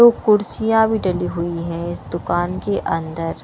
दो कुर्सियाँ भी डली हुई हैं इस दुकान के अंदर --